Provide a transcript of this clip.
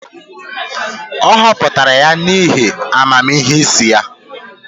A họpụtara ya n'ihi amamihe isi ya.